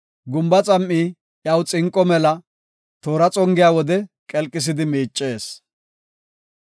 Gumba xam7i iyaw xinqo mela; toora xongiya wode qelqisidi miicees.